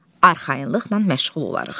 Arxayınlıqla məşğul olarıq.